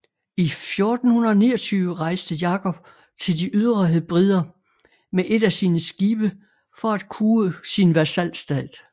I 1429 rejste Jakob til de ydre Hebrider med et af sine skibe for at kue sin vasalstat